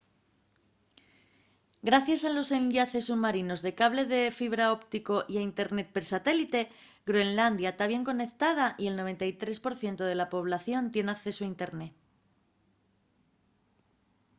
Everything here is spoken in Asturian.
gracies a los enllaces submarinos de cable de fibra óptico y al internet per satélite groenlandia ta bien conectada y el 93% de la población tien accesu a internet